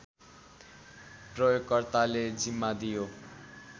प्रयोगकर्ताले जिम्मा दियो